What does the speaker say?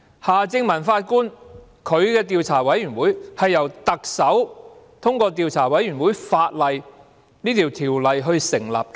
夏正民法官的調查委員會是由特首根據《調查委員會條例》成立的。